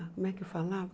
Como é que eu falava?